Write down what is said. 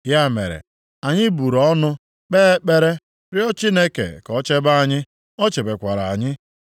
Ya mere, anyị buru ọnụ, kpee ekpere, rịọ Chineke ka o chebe anyị. O chebekwara anyị.